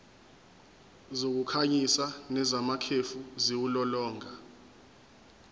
zokukhanyisa nezamakhefu ziwulolonga